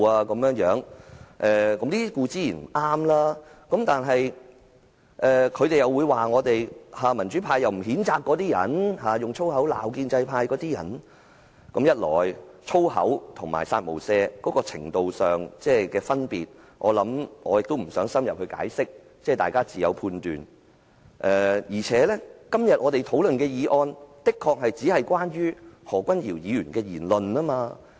以粗言穢語辱罵他人無疑是不對，但關於民主派並無譴責那些用粗話辱罵建制派的人的指責，我卻認為，一來粗話與"殺無赦"言論有程度上的分別，我不想深入解釋，大家自有判斷，二來我們今天討論的議案確實只關乎何君堯議員的言論。